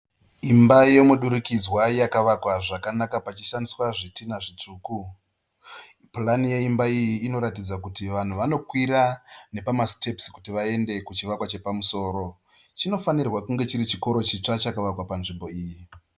Imba yemudurikidza yakavakwa zvakanaka pachishandiswa zvidhina zvitsvuku. Purani yeimbai iyi inoratidza kuti vanhu vanokwira nepamasitepusi kuti vaende kuchivakwa chiripamusiro. Chinofanirwa kunge chiri chikoro chitsva chakavakwa panzvimbo iyi.